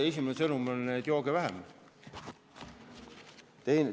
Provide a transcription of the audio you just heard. Esimene sõnum on: jooge vähem!